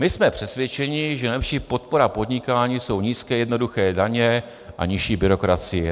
My jsme přesvědčeni, že nejlepší podpora podnikání jsou nízké jednoduché daně a nižší byrokracie.